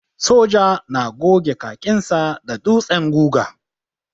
Soja na goge kakinsa da ɗutsen guga.